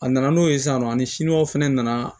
A nana n'o ye san nɔ ani siniwaw fana nana